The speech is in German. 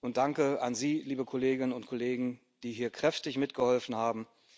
Und danke an Sie, liebe Kolleginnen und Kollegen, die hier kräftig mitgeholfen haben.